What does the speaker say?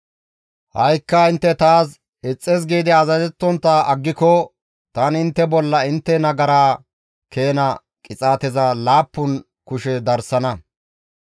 « ‹Ha7ikka intte taas ixxis giidi azazettontta aggiko tani intte bolla intte nagaraa keena qixaateza laappun kushe darsana.